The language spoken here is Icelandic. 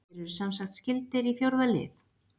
Þeir eru semsagt skyldir í fjórða lið.